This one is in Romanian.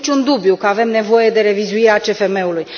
Nu este niciun dubiu că avem nevoie de revizuirea CFM ului.